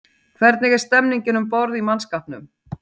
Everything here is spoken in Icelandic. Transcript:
Hvernig er stemningin um borð í mannskapnum?